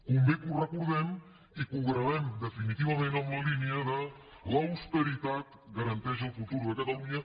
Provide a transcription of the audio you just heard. convé que ho recordem i que ho gravem definitivament en la línia que l’austeritat garanteix el futur de catalunya